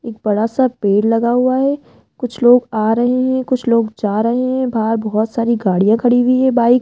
एक बड़ासा पेड़ लगा हुआ है कुछ लोग आ रहे हैं कुछ लोग जा रहे हैं बाहर बहोत सारी गाड़ियां खड़ी हुई है बाइक --